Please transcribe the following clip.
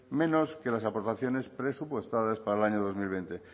menos que las aportaciones presupuestadas para el año dos mil veinte